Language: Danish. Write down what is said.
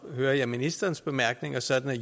hører jeg ministerens bemærkninger sådan